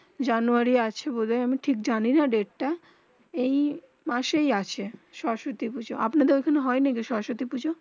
জানুয়ারি আছে বলি আমি ঠিক জানি না ডেট তা এই মাসে এই আছে সরস্বতী পুজো আপনা দের ওখানে হয়ে না কি সরস্বতী পুজো